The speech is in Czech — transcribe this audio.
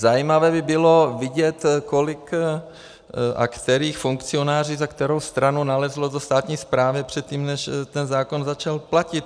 Zajímavé by bylo vidět, kolik a kteří funkcionáři za kterou stranu nalezli do státní správy předtím, než ten zákon začal platit.